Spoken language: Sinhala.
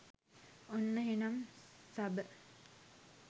ඔන්න එහෙනම් සබ